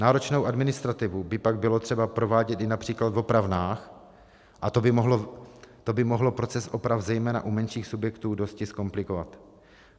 Náročnou administrativu by tak bylo třeba provádět i například v opravnách a to by mohlo proces oprav zejména u menších subjektů dosti zkomplikovat.